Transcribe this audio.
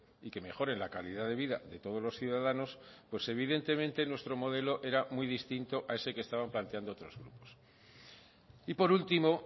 y que mejoren la calidad de vida de todos los ciudadanos pues evidentemente nuestro modelo era muy distinto a ese que estaban planteando otros grupos y por último